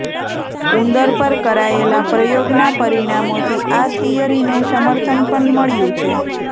ઉંદર પર કરાયેલા પ્રયોગના પરિણામોથી આ થિયરીને સમર્થન પણ મળ્યું છે